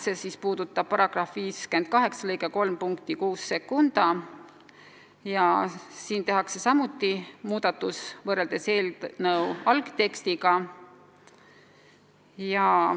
Seda puudutab ka § 58 lõike 3 punkt 62, kus tehakse samuti muudatus võrreldes eelnõu algtekstiga.